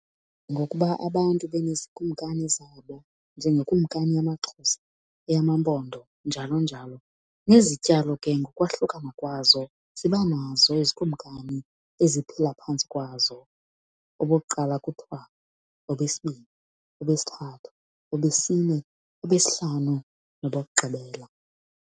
Ngokuba abantu beneezikumkani zabo njengekumkani yamaXhosa, eyamaMpondo, njalo njalo, nezityalo ke ngokwahlukana kwazo zinobazo izikumkani eziphila phantsi kwazo. Obokuqala kuthiwa, obesibini, obesithathu, obesine, obesihlanu, nobokugqibela.